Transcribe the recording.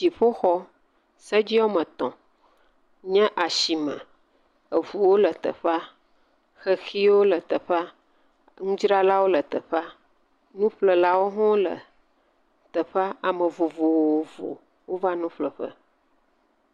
Dziƒoxɔ, sedzi woame etɔ nye asime, eɔuwo le teƒea. Xexiwo le teƒea, nudzralawo le teƒe, nuƒlelawo hʋ le teƒea. Ame vovovowo vanu ƒle ƒe.